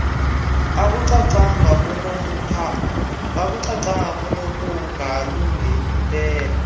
akucacanga kunokungalungi mpela